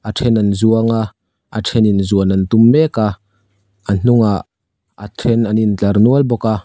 then an zuanga a thenin zuan an tum meka a hnungah a then an intlar nual bawk a.